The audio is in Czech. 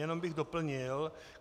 Jenom bych doplnil.